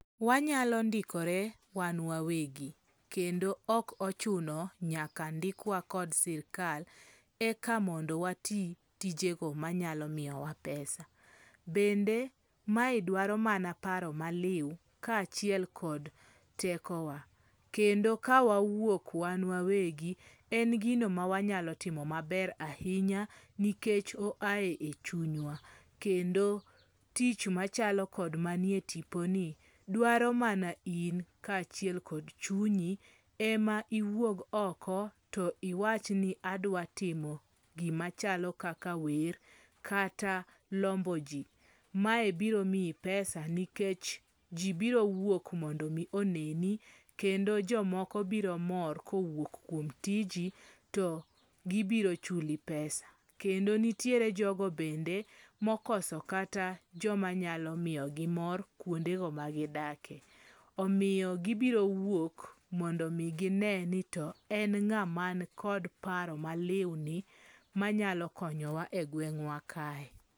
Wanyalo ndikore wan wawegi. Kendo ok ochuno nyaka ndikwa kod sirikal eka mondo wati tijego manyalo miyowa pesa. Bende mae dwaro mana paro malew ka achiel kod tekowa. Kendo ka wawuok wan wawegi, en gino mawanyalo timo maber ahinya nikech o ae echunywa. Kendo tich machalo kod manie tipo ni dwaro mana in ka achiel kod chunyi ema iwuog oko to iwach ni adwa timo gimachalo kaka wer kata lombo ji. Mae biro miyi pesa nikech ji birowuok mondo mi oneni. Kendo jomoko biro mor kowuok kuom tiji to gibiro chuli pesa. Kendo nitiere jogo bende mokoso kata joma nyalo miyogi mor kuonde go magidake. Omiyo gibiro wuok mondo omi gine ni to en ng'a man kod paro malew ni manyalo konyowa e gweng'wa kae.